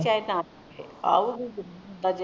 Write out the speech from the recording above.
ਚਾਹੇ ਨਾ ਆਊਗੀ ਬਜੇ